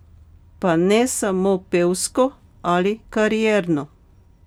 Pa ne samo pevsko ali karierno.